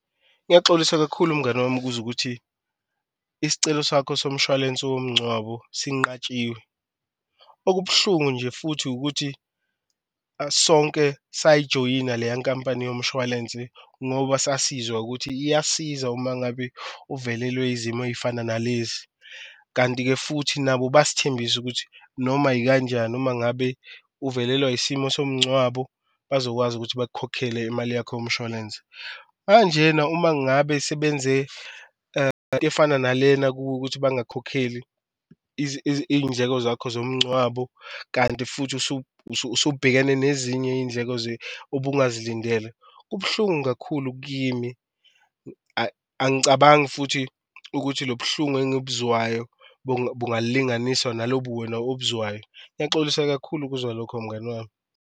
Ngiyaxolisa kakhulu mngani wami ukuzwa ukuthi isicelo sakho somshwalense womncwabo sinqatshiwe, okubuhlungu nje futhi ukuthi sonke sayijoyina leya nkampani yomshwalense ngoba sasizwa ukuthi iyasiza uma ngabe uvelelwe izimo eyifana nalezi. Kanti-ke futhi nabo besithembisa ukuthi noma yikanjani uma ngabe uvelelwa isimo somncwabo bazokwazi ukuthi bakukhokhele imali yakho yomshwalense. Manjena uma ngabe sebenze efana nalena kuwe ukuthi bangakukhokheli iyindleko zakho zomncwabo kanti futhi usubhekene nezinye iyindleko obungazilindele. Kubuhlungu kakhulu kimi angicabangi futhi ukuthi lobuhlungu engibuzwayo bungalinganiswa nalobu wena obuzwayo. Ngiyaxolisa kakhulu ukuzwa lokho mngani wami.